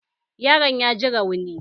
Yaron ya ji rauni